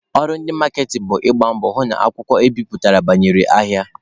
Ọrụ ndị maaketịn bụ ịgba mbọ hụ na akwụkwọ ebiputere banyere ahịa.